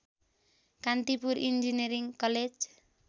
Kantipur engineering college